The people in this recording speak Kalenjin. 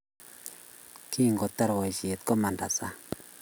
Kingotar boisiet, komanda sang